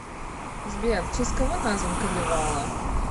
сбер в честь кого назван калевала